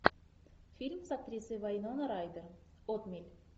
фильм с актрисой вайнона райдер отмель